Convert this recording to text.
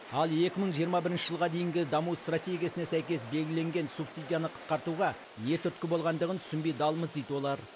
ал екі мың жиырма бірінші жылға дейінгі даму стратегиясына сәйкес белгіленген субсидияны қысқартуға не түрткі болғандығын түсінбей далмыз дейді олар